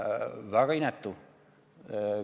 Väga inetu!